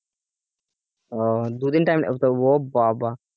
দুদিন টাইম লেগে যায় ও বাবা